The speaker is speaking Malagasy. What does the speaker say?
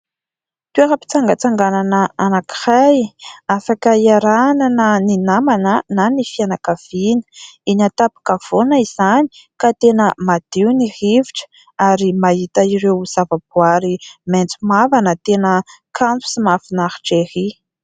Toeram-pitsangatsanganana anankiray afaka hiarahana na namana na ny fianakavina, eny an-taponkavoana izany ka tena madio ny rivotra ary mahita ireo zavaboary maitso mavana, tena kanto sy mahafinaritra ery.